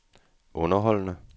underholdende